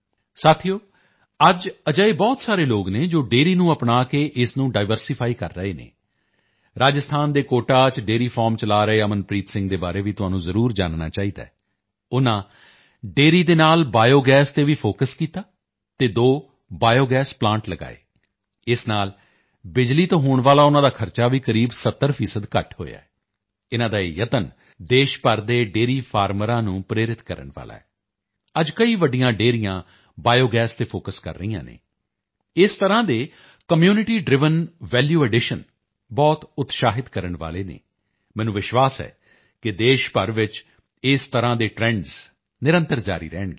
ਸਾਥੀਓ ਅੱਜ ਅਜਿਹੇ ਬਹੁਤ ਸਾਰੇ ਲੋਗ ਹਨ ਜੋ ਡੇਅਰੀ ਨੂੰ ਅਪਣਾ ਕੇ ਇਸ ਨੂੰ ਡਾਇਵਰਸਿਫਾਈ ਕਰ ਰਹੇ ਹਨ ਰਾਜਸਥਾਨ ਦੇ ਕੋਟਾ ਚ ਡੇਅਰੀ ਫਾਰਮ ਚਲਾ ਰਹੇ ਅਮਨਪ੍ਰੀਤ ਸਿੰਘ ਦੇ ਬਾਰੇ ਵੀ ਤੁਹਾਨੂੰ ਜ਼ਰੂਰ ਜਾਨਣਾ ਚਾਹੀਦਾ ਹੈ ਉਨ੍ਹਾਂ ਡੇਅਰੀ ਦੇ ਨਾਲ ਬਾਇਓਗੈਸ ਤੇ ਵੀ ਫੋਕਸ ਕੀਤਾ ਅਤੇ ਦੋ ਬਾਇਓਗੈਸ ਪਲਾਂਟ ਲਗਾਏ ਇਸ ਨਾਲ ਬਿਜਲੀ ਤੇ ਹੋਣ ਵਾਲਾ ਉਨ੍ਹਾਂ ਦਾ ਖਰਚ ਵੀ ਕਰੀਬ 70 ਪ੍ਰਤੀਸ਼ਤ ਘੱਟ ਹੋਇਆ ਹੈ ਇਨ੍ਹਾਂ ਦਾ ਇਹ ਯਤਨ ਦੇਸ਼ ਭਰ ਦੇ ਡੇਅਰੀ ਫਾਰਮਰਾਂ ਨੂੰ ਪ੍ਰੇਰਿਤ ਕਰਨ ਵਾਲਾ ਹੈ ਅੱਜ ਕਈ ਵੱਡੀਆਂ ਡੇਅਰੀਆਂ ਬਾਇਓਗੈਸ ਤੇ ਫੋਕਸ ਕਰ ਰਹੀਆਂ ਹਨ ਇਸ ਤਰ੍ਹਾਂ ਦੇ ਕਮਿਊਨਿਟੀ ਡ੍ਰਾਈਵਨ ਵੈਲੂ ਐਡੀਸ਼ਨ ਬਹੁਤ ਉਤਸ਼ਾਹਿਤ ਕਰਨ ਵਾਲੇ ਹਨ ਮੈਨੂੰ ਵਿਸ਼ਵਾਸ ਹੈ ਕਿ ਦੇਸ਼ ਭਰ ਚ ਇਸ ਤਰ੍ਹਾਂ ਦੇ ਟਰੈਂਡਸ ਨਿਰੰਤਰ ਜਾਰੀ ਰਹਿਣਗੇ